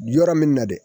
Yɔrɔ min na dɛ